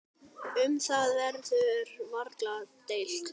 Um það verður varla deilt.